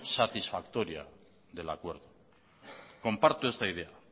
satisfactoria del acuerdo comparto esta idea